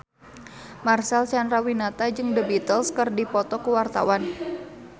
Marcel Chandrawinata jeung The Beatles keur dipoto ku wartawan